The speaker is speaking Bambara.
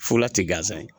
Fura ti gansan ye